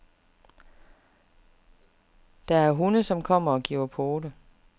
Der er hunde, som kommer og giver pote.